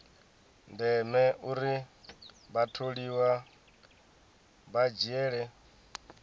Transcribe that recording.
ndeme uri vhatholiwa vha dzhiele